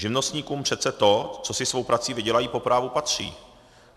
Živnostníkům přece to, co si svou prací vydělají, po právu patří.